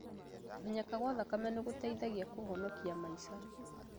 Kũmenyeka gwa preca ya thakame nĩgũteithagia kũhonokia maica